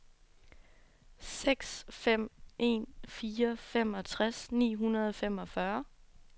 seks fem en fire femogtres ni hundrede og femogfyrre